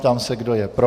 Ptám se, kdo je pro.